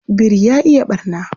Biri ya iya ɓarna.